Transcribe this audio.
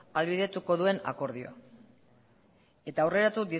ahalbideratuko duen akordioa eta aurreratu